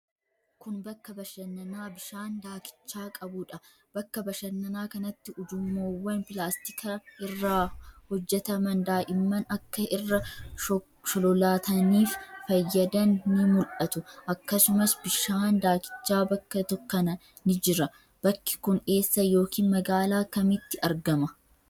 Kun, bakka bashannanaa bishaan daakichaa qabuu dha. Bakka bashannanaa kanatti, ujummoowwan pilaastika irraa hojjataman daa'imman akka irra sholololaataniif fayyadan ni mul'atu. Akkasumas ,bishaan daakichaa bakka kana ni jira. Bakki kun eessa yokin magaalaa kamitti argama?